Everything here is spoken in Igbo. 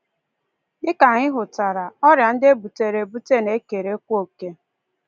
Dị ka anyị hụtara, ọrịa ndị e butere ebute na-ekerekwa oke.